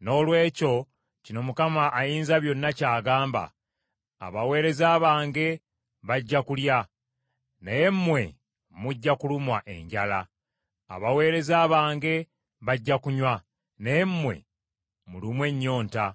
Noolwekyo kino Mukama Ayinzabyonna ky’agamba: “Abaweereza bange bajja kulya, naye mmwe mujja kulumwa enjala, abaweereza bange bajja kunywa, naye mmwe mulumwe ennyonta;